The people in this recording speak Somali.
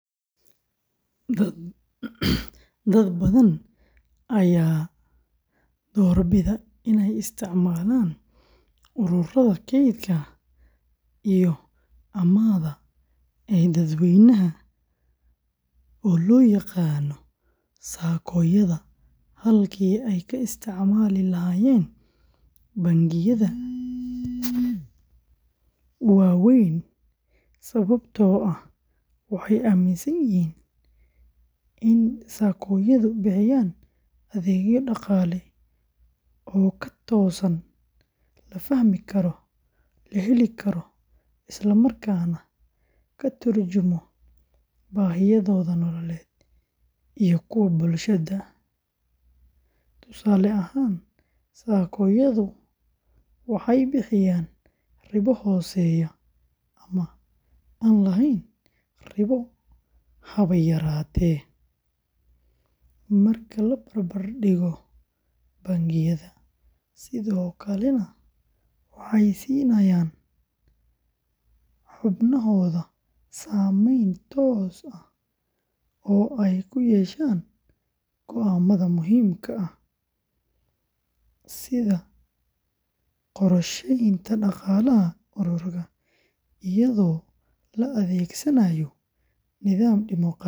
Dad badan ayaa doorbida inay isticmaalaan ururada kaydka iyo amaahda ee dadweynaha loo yaqaan SACCOyada halkii ay ka isticmaali lahaayeen bangiyada waaweyn sababtoo ah waxay aaminsan yihiin in SACCOyadu bixiyaan adeegyo dhaqaale oo ka toosan, la fahmi karo, la heli karo, isla markaana ka turjumaya baahiyahooda nololeed iyo kuwa bulshada; tusaale ahaan, SACCOyadu waxay bixiyaan ribo hooseysa ama aan lahayn ribo haba yaraatee marka la barbardhigo bangiyada, sidoo kalena waxay siinayaan xubnahooda saamayn toos ah oo ay ku yeeshaan go’aamada muhiimka ah sida qorsheynta dhaqaalaha ururka, iyadoo la adeegsanaayo nidaam dimoqraadi ah.